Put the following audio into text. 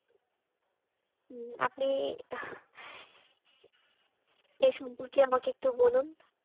হম আপনি এ সম্পর্কে আমাকে একটু বলুন।